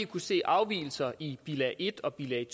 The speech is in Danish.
kunne se afvigelser i bilag en og bilag